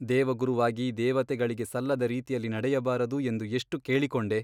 ದೇವಗುರುವಾಗಿ ದೇವತೆಗಳಿಗೆ ಸಲ್ಲದ ರೀತಿಯಲ್ಲಿ ನಡೆಯಬಾರದು ಎಂದು ಎಷ್ಟು ಕೇಳಿಕೊಂಡೆ !